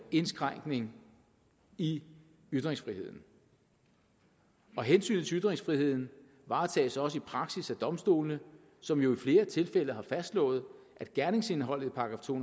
indskrænkning i ytringsfriheden hensynet til ytringsfriheden varetages også i praksis af domstolene som jo i flere tilfælde har fastslået at gerningsindholdet i § to